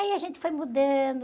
Aí a gente foi mudando...